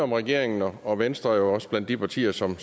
om regeringen og venstre er også blandt de partier som